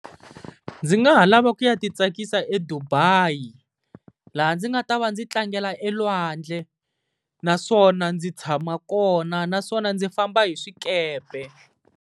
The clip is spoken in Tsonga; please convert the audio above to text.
Ndzi nga ha lava ku ya ti tsakisa eDubai laha ndzi nga ta va ndzi tlangela elwandle, naswona ndzi tshama kona, naswona ndzi famba hi swikepe.